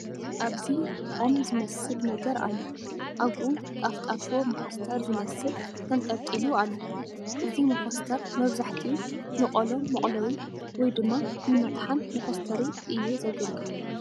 ኣብዚ ቖም ዝመስል ነገር ኣሎ ኣብኡ ጣፍጣፎ ሞኾስተር ዝበሃል ተንጠልጢሉ አሎ ፡ እዚ ሞኾስተር መብዛሕትኡ ንቖሎ መቑለዊ ወይ ድማ ንመጥሓን መኾስተሪ እዩ ዘገልግል ።